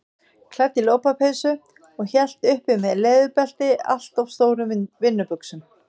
Klædd í lopapeysu og hélt uppi með leðurbelti allt of stórum vinnubuxum.